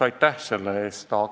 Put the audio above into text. Aitäh selle eest!